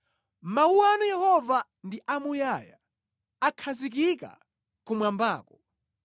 Mawu anu Yehova ndi amuyaya; akhazikika kumwambako.